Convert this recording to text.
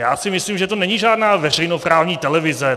Já si myslím, že to není žádná veřejnoprávní televize.